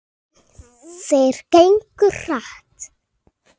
Þeir gengu hratt.